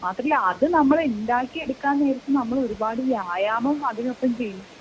മാത്രവുമല്ല അത് നമ്മൾ ഉണ്ടാക്കി എടുക്കുന്ന നേരത്തു ഒരുപാട് വ്യായാമവും അതിനൊപ്പം ചെയ്യും